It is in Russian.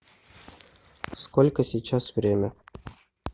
сколько сейчас время